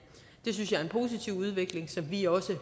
det synes jeg er en positiv udvikling som vi også